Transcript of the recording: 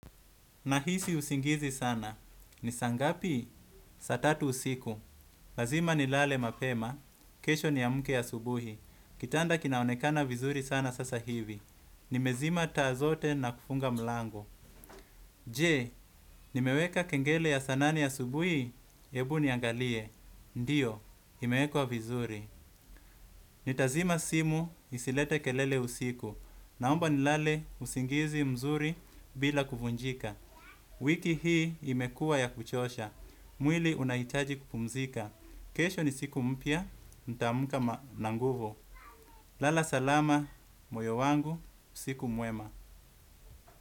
Nahisi usingizi sana. Ni saa ngapi? Saa tatu usiku. Lazima nilale mapema. Kesho niamke ya subuhi. Kitanda kinaonekana vizuri sana sasa hivi. Nimezima taa zote na kufunga mlango. Je, nimeweka kengele ya saa nane asubuhi? Hebu niangalie. Ndiyo, imewekwa vizuri. Nitazima simu isilete kelele usiku. Naomba nilale usingizi mzuri bila kuvunjika. Wiki hii imekuwa ya kuchosha. Mwili unahitaji kupumzika. Kesho ni siku mpya, nitaamka na nguvu. Lala salama, moyo wangu, usiku mwema.